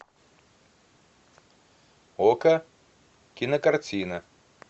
окко кинокартина